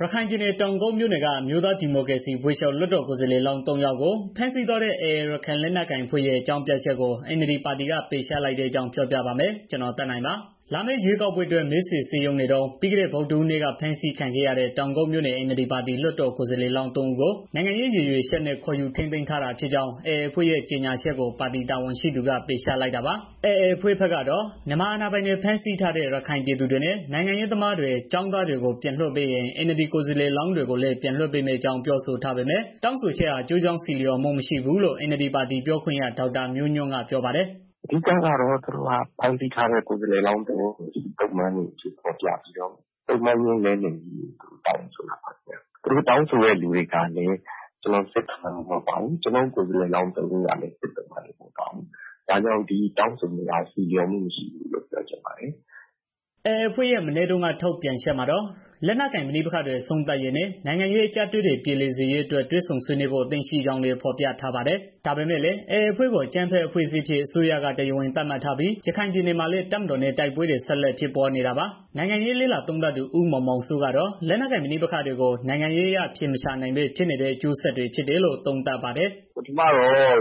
ရခိုင်ပြည်နယ် တောင်ကုတ်မြို့နယ်က အမျိုးသားဒီမိုကရေစီအဖွဲ့ချုပ် လွှတ်တော်ကိုယ်စားလှယ်လောင်း ၃ ယောက်ကို ဖမ်းဆီးသွားတဲ့ AA ရခိုင်လက်နက်ကိုင်အဖွဲ့ရဲ့ အကြောင်းပြချက်ကို NLD ပါတီက ပယ်ချလိုက်တဲ့အကြောင်း ပြောပြပါမယ်။ ဗွီအိုအေမြန်မာပိုင်း သတင်းထောက် ကိုသက်နိုင်က ရခိုင်ကနေ သတင်းပေးပို့ထားပါတယ်။ လာမယ့် ရွေးကောက်ပွဲအတွက် မဲဆွယ်စည်းရုံးနေတုန်း ပြီးခဲ့တဲ့ ဗုဒ္ဓဟူးနေ့က ဖမ်းဆီးခံခဲ့ရတဲ့ တောင်ကုတ်မြို့နယ် NLD ပါတီ လွှတ်တော်ကိုယ်စားလှယ်လောင်း ၃ ဦးကို နိုင်ငံရေးရည်ရွယ်ချက်နဲ့ ခေါ်ယူထိန်းသိမ်းထားတာဖြစ်ကြောင်း AA အဖွဲ့ရဲ့ ကြေညာချက်ကို ပါတီတာဝန်ရှိသူတွေက ပယ်ချလိုက်တာပါ။ AA အဖွဲ့ကတော့ မြန်မာအာဏာပိုင်တွေ ဖမ်းဆီးထားတဲ့ ရခိုင်ပြည်သူတွေနဲ့ နိုင်ငံရေးသမားတွေ ကျောင်းသားတွေကို ပြန်လွှတ်ပေးရင် NLD ကိုယ်စားလှယ်လောင်းတွေကိုလည်း ပြန်လွှတ်ပေးမယ့်အကြောင်း ပြောဆိုထားပေမဲ့ တောင်းဆိုချက်ဟာ ကျိုးကြောင်းဆီလျော်မှု မရှိဘူးလို့ NLD ပါတီပြောခွင့်ရ ဒေါက်တာမျိုးညွန့်ကပြောပါတယ်။ "အဓိကတော့ သူတို့က ဖမ်းဆီးထားတဲ့ ကိုယ်စားလှယ်လောင်း သုံးဦးကို စစ်သုံ့ပန်းတွေ အဖြစ်ဖော်ပြတယ်။ ပြီးတော့ သုံ့ပန်းချင်းလဲလှယ်ဖို့ တောင်းဆိုတာပေါ့နော်။ တောင်းဆိုတဲ့ လူတွေကလည်း စစ်သုံ့ပန်းမဟုတ်ပါဘူး။ ကျနော်တို့ ကိုယ်စားလှယ်လောင်း သုံးဦးကလည်း စစ်သုံ့ပန်း မဟုတ်ပါဘူး။ ဒါကြောင့် ဒီတောင်းဆိုမှုဟာ ဆီလျော်မှုမရှိဘူးလို့ ပြောချင်ပါတယ်။" AA အဖွဲ့ရဲ့ မနေ့တုန်းက ထုတ်ပြန်ချက်မှာတော့ လက်နက်ကိုင် ပဋိပက္ခတွေ အဆုံးသတ်ရေးနဲ့ နိုင်ငံရေး အကျပ်အတည်းတွေ ပြေလည်စေရေး တွေ့ဆုံဆွေးနွေးဖို့ အသင့်ရှိကြောင်းလည်း ဖော်ပြထားပါတယ်။ ဒါပေမဲ့လည်း AA အဖွဲ့ကို အကြမ်းဖက်အဖွဲ့အစည်းအဖြစ် အစိုးရက တရားဝင်သတ်မှတ်ထားပြီး ရခိုင်ပြည်နယ်မှာလည်း တပ်မတော်နဲ့ တိုက်ပွဲတွေ ဆက်လက်ဖြစ်ပွားနေတာပါ။ နိုင်ငံရေးလေ့လာသုံးသပ်သူ ဦးမောင်မောင်စိုး ကတော့ လက်နက်ကိုင်ပဋိပက္ခတွေကို နိုင်ငံရေးအရ အဖြေမရှာနိုင်ဘဲ ဖြစ်နေတဲ့ အကျိုးဆက်အဖြစ် သုံးသပ်ပါတယ်။ "ပထမတော့ AA အ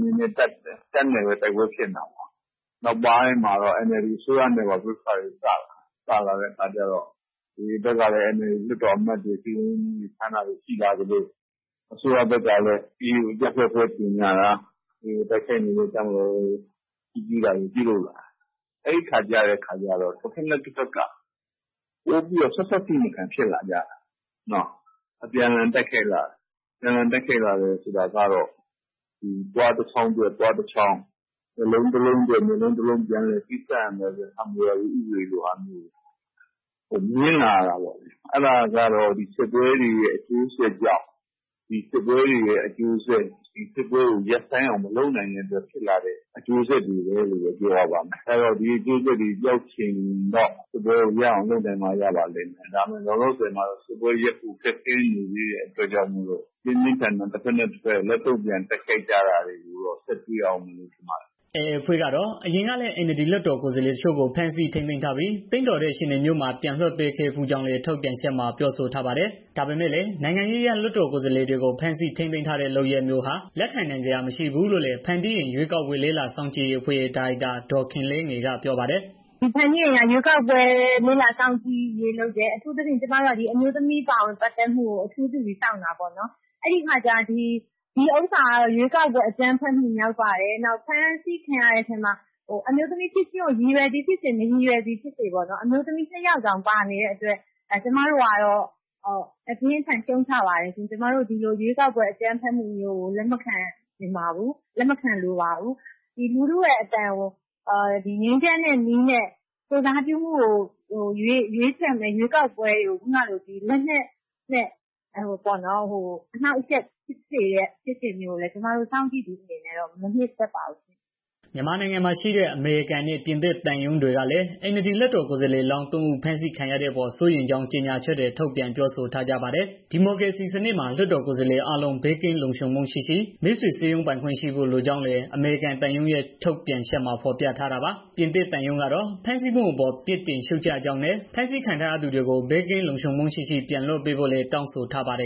နေနဲ့ တပ်နဲ့ပဲ တိုက်ပွဲဖြစ်တာပေါ့ နောက်ပိုင်းမှာတော့ NLD အစိုးရနဲ့ပါ ပြဿနာတွေ ဖြစ်လာတော့ AA ဘက်ကလည်း NLD လွှတ်တော်အမတ်တွေကို ဖမ်းဆီးတာတွေ ရှိလာသလို အစိုးရဘက်ကလည်း AAကို အကြမ်းဖက် အဖွဲ့အဖြစ်ကြေငြာတာရှိလာတဲ့ အခါကျကတော့ AA ကိုတိုက်နေတဲ့ တပ်မတော်ကို ချီးကျူးတွေ ရှိလာတယ်။ အဲဒီအခါကျတော့ တစ်ဘက်နဲ့ တစ်ဘက်က ပိုပြီးတော့ ဆက်ဆက်ထိမခံဖြစ်လာကြတယ်။ အပြန်အလှန်တိုက်ခိုက်လာတယ်။ ဆိုတာကတော့ သွားတစ်ချောင်းအတွက် သွားတစ်ချောင်း မျက်လုံးတစ်ဘက်အတွက် မျက်လုံး တစ်လုံး ပြန်လည်ပေးဆပ်ရမယ်ဆိုတဲ့ ဟာမူရာဘီ ဥပဒေမျိုး မြင်လာရတာပေါ့ အဲတာကတော့ စစ်ပွဲတွေရဲ့ အကျိုးဆက် စစ်ပွဲကို ရပ်ဆိုင်းအောင်မလုပ်နိုင်တဲ့ အကျိုးဆက်ပေါ့။ ဒါကြောင့်စစ်ပွဲ ရပ်ဖို့လိုတယ်။ လက်ရှိမှာတော့ တစ်ဘက်နဲ့ တစ်ဘက် ပြင်းပြင်းထန်ထန်တိုက်ခိုက်ကြလိမ့်မယ်လို့ မြင်ပါတယ်။" AA အဖွဲ့ကတော့ အရင်ကလည်း NLD လွှတ်တော်ကိုယ်စားလှယ်တချို့ကို ဖမ်းဆီးထိန်းသိမ်းပြီး သင့်တော်တဲ့ အခြေအနေမျိုးမှာ ပြန်လွှတ်ပေးခဲ့ဘူးကြောင်းလည်း ထုတ်ပြန်ချက်မှာ ပြောဆိုထားပါတယ်။ ဒါပေမဲ့လည်း နိုင်ငံရေးအရ လွှတ်တော်ကိုယ်စားလှယ်တွေကို ဖမ်းဆီးထိန်းသိမ်းတဲ့ လုပ်ရပ်မျိုးဟာ လက်ခံနိုင်စရာ မရှိဘူးလို့လည်း ဖန်တီးအိမ် ရွေးကောက်ပွဲလေ့လာစောင့်ကြည့်ရေးအဖွဲ့ရဲ့ ဒါရိုက်တာ ဒေါ်ခင်လေးငယ်ကပြောပါတယ်။ "ဖန်တီးအိမ်က ရွေးကောက်ပွဲ လေ့လာစောင့်ကြည့်ရေးလုပ်တယ်။ အထူးသဖြင့် ရွေးကောက်ပွဲမှာ အမျိုးသမီးပါဝင်မှုတွေကို အဓိကလေ့လာစောင့်ကြည့်တာပေါ့နော်။ ဒီဟာကတော့ ရွေးကောက်ပွဲ အကြမ်းဖက်မှု မြောက်ပါတယ်။ နောက် ဖမ်းဆီးခံရတဲ့ထဲမှာ ရည်ရွယ်သည်ဖြစ်စေ၊ မရည်ရွယ်သည်ဖြစ်စေ၊ အမျိုးသမီး နှစ်ယောက်တောင် ပါနေတယ်။ ကျမတို့ကတော့ အပြင်းအထန်ရှုံ့ချပါတယ်။ ကျမတို့က ဒီလို ရွေးကောက်ပွဲ အကြမ်းဖက်မှုတွေကို လက်မခံနိုင်ပါဘူး။ ပြည်သူတွေရဲ့ အသံကို ငြိမ်းချမ်းတဲ့နည်းနဲ့ ကိုယ်စားပြုမှုခံယူမယ့် ရွေးကောက်ပွဲကို လက်နက်အားကိုးနဲ့ အနှောင့်အယှက်ပေးတဲ့ ဖြစ်စဉ်တွေကိုတော့ ကျမတို့ စောင့်ကြည်သူအနေနဲ့ မနှစ်သက်ပါဘူးရှင့်။" မြန်မာနိုင်ငံမှာရှိတဲ့ အမေရိကန်နဲ့ ပြင်သစ်သံရုံးတွေကလည်း NLD လွှတ်တော် ကိုယ်စားလှယ်လောင်း ၃ ဦး ဖမ်းဆီးခံရတဲ့အပေါ် စိုးရိမ်ကြောင်း ကြေညာချက်တွေ ထုတ်ပြန်ပြောဆိုထားကြပါတယ်။ ဒီမိုကရေစီစနစ်မှာ လွှတ်တော်ကိုယ်စားလှယ်တွေအားလုံး ဘေးကင်းလုံခြုံမှုရှိရှိ မဲဆွယ်စည်းရုံးခွင့်ရှိဖို့ လိုကြောင်းလည်း အမေရိကန်သံရုံးရဲ့ ထုတ်ပြန်ချက်မှာ ဖော်ပြခဲ့တာပါ။ ပြင်သစ်သံရုံးကတော့ ဖမ်းဆီးမှုအပေါ် ပြစ်တင်ရှုတ်ချကြောင်းနဲ့ ဖမ်းဆီးခံထားရသူတွေကို ဘေးကင်းလုံခြုံမှုရှိရှိ ပြန်လွှတ်ပေးဖို့လည်း တောင်းဆိုထားပါတယ်